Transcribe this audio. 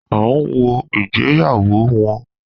A n wo ìgbéyàwó wọn